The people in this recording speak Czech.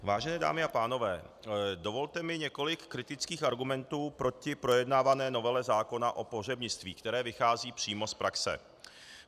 Vážené dámy a pánové, dovolte mi několik kritických argumentů proti projednávané novele zákona o pohřebnictví, které vychází přímo z praxe.